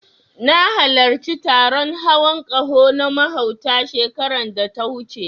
Na halarci taron hawan ƙaho na mahauta, shekarar da ta wuce.